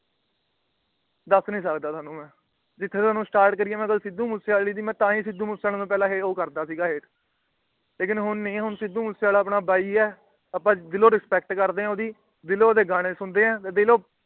ਦੱਸ ਨਹੀਂ ਸਕਦਾ ਤੁਹਾਨੂੰ ਮੈ। ਜਿੱਥੋਂ ਤੁਹਾਨੂੰ Start ਕਰੀ ਮੈ ਸਿੱਧੂ ਮੂਸੇਵਾਲੀ ਦੀ ਮੈ। ਮੈ ਸਿੱਧੂ ਮੂਸੇਵਾਲੇ ਨੂੰ ਪਹਿਲਾ ਇਹੋ ਕਰਦਾ ਸੀ ਹੈਟ । ਲੇਕਿਨ ਹੁਣ ਨਹੀਂ ਹੁਣ ਸਿੱਧੂ ਮੂਸੇਵਾਲਾ ਆਪਣਾ ਬਾਈ ਏ। ਆਪਾ ਦਿਲੋਂ Respect ਕਰਦੇ ਆ ਉਹਦੀ ਦਿਲੋਂ ਓਹਦੇ ਗਾਣੇ ਸੁਣਦੇ ਆ। ਦਿਲੋਂ